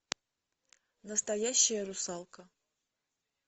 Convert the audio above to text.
настоящая русалка